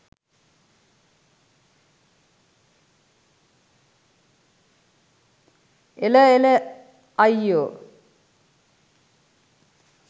එළ එළ අයියෝ